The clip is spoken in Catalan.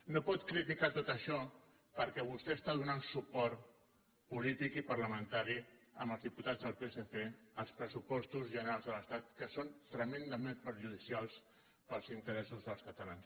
no pot criticar tot això perquè vostè està donant suport polític i parlamentari amb els diputats del psc als pressupostos generals de l’estat que són tremendament perjudicials per als interessos dels catalans